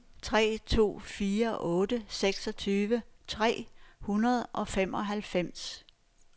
tre to fire otte seksogtyve tre hundrede og femoghalvfems